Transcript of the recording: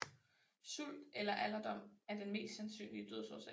Sult eller alderdom er den mest sandsynlige dødsårsag